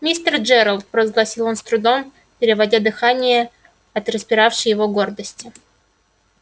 мистер джералд провозгласил он с трудом переводя дыхание от распиравшей его гордости